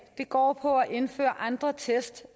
går på at indføre andre test